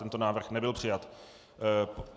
Tento návrh nebyl přijat.